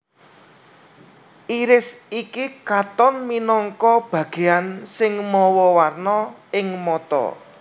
Iris iki katon minangka bagéan sing mawa warna ing mata